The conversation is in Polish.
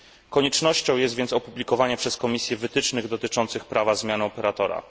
Koniecznością jest więc opublikowanie przez Komisję wytycznych dotyczących prawa zmiany operatora.